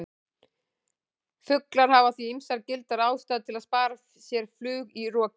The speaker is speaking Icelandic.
Fuglar hafa því ýmsar gildar ástæður til að spara sér flug í roki!